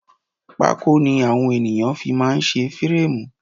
Pákó ni àwọn ènìyàn fi máá ń ṣe férémù